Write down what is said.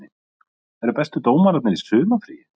Eru bestu dómararnir í sumarfríi?